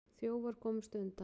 Þjófar komust undan.